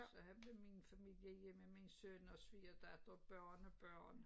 Så havde jeg min familie hjemme ved min søn og svigerdatter og børnebørn